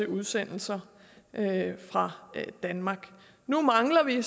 udsendelser fra danmark nu mangler vi